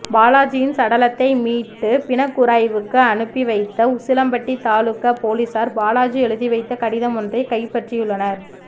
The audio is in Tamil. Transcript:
பாலாஜியின் சடலத்தை மீட்டு பிணக்கூறாய்வுக்கு அனுப்பி வைத்த உசிலம்பட்டி தாலுகா போலீசார் பாலாஜி எழுதிவைத்த கடிதம் ஒன்றை கைப்பற்றியுள்ளனர்